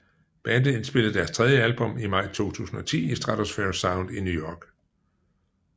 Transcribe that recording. Bandet indspillede deres tredje album i maj 2010 i Stratosphere Sound i New York